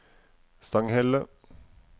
Stanghelle